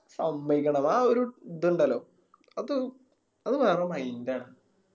സമ്മായിക്കണം ആ ഒരു ഇതുണ്ടല്ലോ അതൊരു അത് വേറെ Mind ആണ്